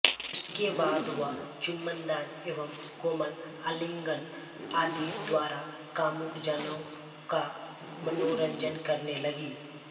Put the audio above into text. उसके बाद वह चुम्बनदान एवं कोमल आलिंगन आदि द्वारा कामुक जनों का मनोरंजन करने लगी